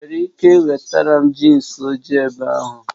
Ị nwere ike wetara m jinsi ojii ebe ahụ?